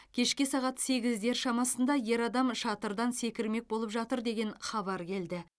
кешке сағат сегіздер шамасында ер адам шатырдан секірмек болып жатыр деген хабар келді